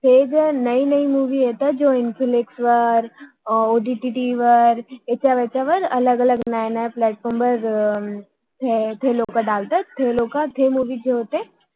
हे जय नवी नवी मुवि येतात हम्म जे इंफिलेक्स infilex वर ओ डी टी टी वर यावर ते लोक टाकतात ते लोक होते